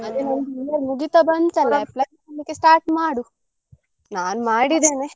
ಮುಗಿತಾ ಬಂತಲ್ಲ apply ಮಾಡ್ಲಿಕ್ಕೆ start ಮಾಡು. ನಾನ್ ಮಾಡಿದ್ದೇನೆ.